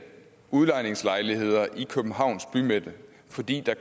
udlejningslejligheder i københavns bymidte fordi der